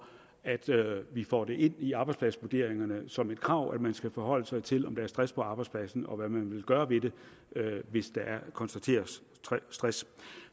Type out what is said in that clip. at vi får det ind i arbejdspladsvurderingerne som et krav at man skal forholde sig til om der er stress på arbejdspladsen og hvad man vil gøre ved det hvis der konstateres stress